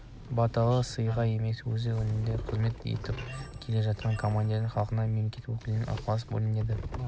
баталы сыйға емес өзі сенімді қызмет етіп келе жатқан командирінің халықтың мемлекеттің өкілінің ықыласына бөленсем